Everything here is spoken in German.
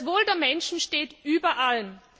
Das Wohl der Menschen steht über allem.